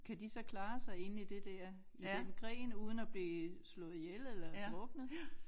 Kan de så klare sig inde i det der i den gren uden at blive slået ihjel eller druknet